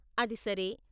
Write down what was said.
అది సరే.